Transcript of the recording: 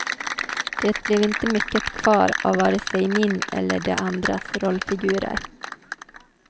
Det blev inte mycket kvar av vare sig min eller de andras rollfigurer.